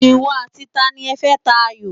Ìwọ àti tani ẹ fẹ́ ta ayò?